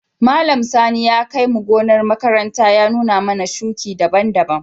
Malam Sani ya kai mu gonar makaranta ya nuna mana shuki daban-daban.